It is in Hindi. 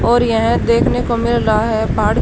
और यह देखने को मिल रहा है पहाड़--